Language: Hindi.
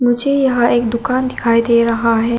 मुझे यहां एक दुकान दिखाई दे रहा है।